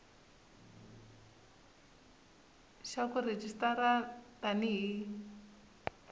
xa ku rejistara tani hi